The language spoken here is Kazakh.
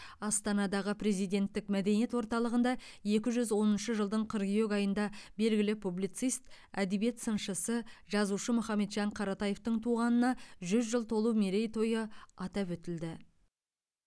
астанадағы президенттік мәдениет орталығында екі жүз оныншы жылдың қыркүйек айында белгілі публицист әдебиет сыншысы жазушы мұхамеджан қаратаевтың туғанына жүз жыл толу мерейтойы атап өтілді